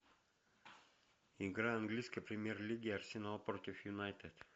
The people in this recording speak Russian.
игра английской премьер лиги арсенал против юнайтед